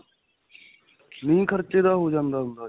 ਨਹੀਂ ਖਰਚੇ ਦਾ ਹੋ ਜਾਂਦਾ ਹੁੰਦਾ ਜੀ.